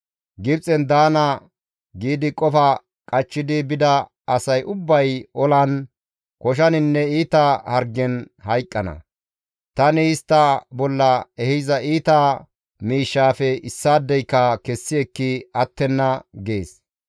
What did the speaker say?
Gibxen daana giidi qofa qachchidi bida asay ubbay olan, koshaninne iita hargen hayqqana; tani istta bolla ehiza iita miishshafe issaadeyka kessi ekki attenna› gees.